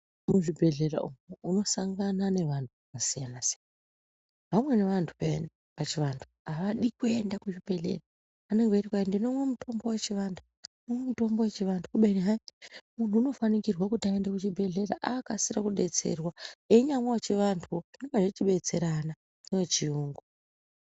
Muzvibhedhlera umu unosangana nevantu vakasiyana-siyana, vamweni vantu peyani pachivantu havadi kuenda kuchibhedhleya vanenge vechiti kwai ndonomwa mitombo yechivantu. Kubeni hai muntu unofanikwirwe kuti aende kuchibhedhleya akasire kubetserwa ainyamwa vechivantuvo zvinomba chibetserana nevechuyungu.